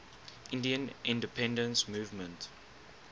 indian independence movement